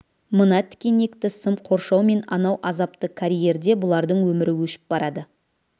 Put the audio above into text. мына тікенекті сым қоршау мен анау азапты карьерде бұлардың өмірі өшіп барады